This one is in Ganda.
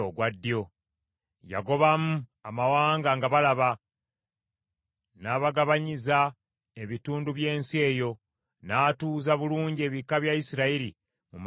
Yagobamu amawanga nga balaba, n’abagabanyiza ebitundu by’ensi eyo; n’atuuza bulungi ebika bya Isirayiri mu maka gaabyo.